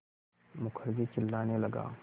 मुखर्जी चिल्लाने लगा